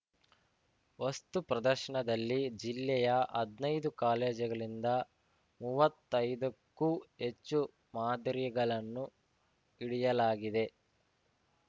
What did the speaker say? ವಸ್ತು ಪ್ರದರ್ಶನದಲ್ಲಿ ಜಿಲ್ಲೆಯ ಹದ್ನೈದು ಕಾಲೇಜುಗಳಿಂದ ಮುವತ್ತೈದಕ್ಕೂ ಹೆಚ್ಚು ಮಾದರಿಗಳನ್ನು ಇಡಿಯಾಲಾಗಿದೆ